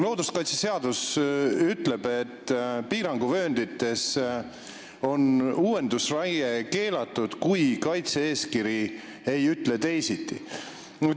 Looduskaitseseadus ütleb, et piiranguvööndis on uuendusraie keelatud, kui kaitse-eeskiri ei ütle teisiti.